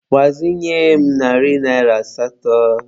Gbazinye m narị naịra asatọ.